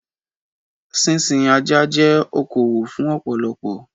Sísin Ajá jẹ́ okowò fún ọ̀pọ̀lọpọ̀.